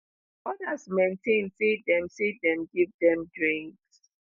odas maintain say dem say dem give dem drinks